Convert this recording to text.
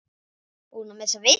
Búin að missa vitið?